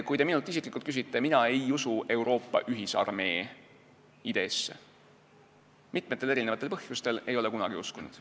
Kui te minult isiklikult küsite, siis ütlen, et mina ei usu Euroopa ühisarmee ideesse, mitmel põhjusel ei ole kunagi uskunud.